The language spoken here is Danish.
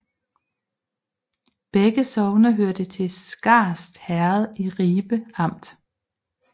Begge sogne hørte til Skast Herred i Ribe Amt